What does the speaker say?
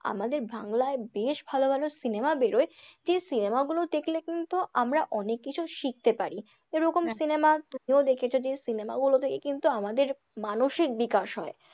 আমাদের বাংলায় বেশ ভালো ভালো cinema বেরোয় যে cinema গুলো দেখলে কিন্তু আমরা অনেককিছু শিখতে পারি, এরকম cinema তুমিও দেখেছ যে cinema গুলো থেকে কিন্তু আমাদের মানসিক বিকাশ হয়।